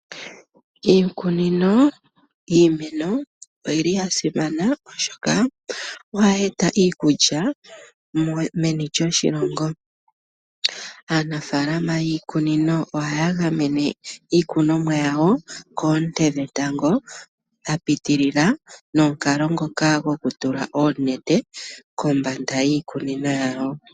Iikunino yiimeno oyili ya simana ,oshoka o hayi eta iikulya meni lyoshilongo. Aanafaalama yiikunino oha ya gamene iikunomwa yawo koonte dhetango dha pitilila nomukalo ngoka goku tula oonete kombanda yiikunino yawo.